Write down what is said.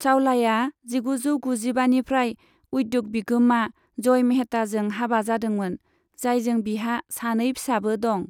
चावलाया जिगुजौ गुजिबानिफ्राय उद्य'ग बिगोमा जय मेहताजों हाबा जादोंमोन, जायजों बिहा सानै फिसाबो दं।